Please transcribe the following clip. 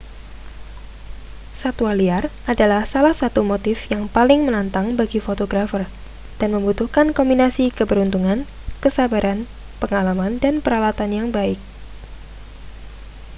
satwa liar adalah salah satu motif yang paling menantang bagi fotografer dan membutuhkan kombinasi keberuntungan kesabaran pengalaman dan peralatan yang baik